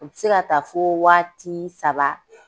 U bɛ se ka ta fo wagati saba.